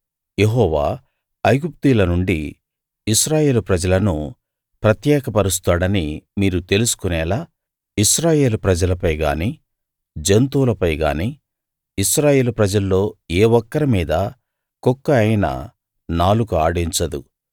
యెహోవా ఐగుప్తీయుల నుండి ఇశ్రాయేలు ప్రజలను ప్రత్యేకపరుస్తాడని మీరు తెలుసుకొనేలా ఇశ్రాయేలు ప్రజలపై గానీ జంతువులపై గానీ ఇశ్రాయేలు ప్రజల్లో ఏ ఒక్కరి మీదా కుక్క అయినా నాలుక ఆడించదు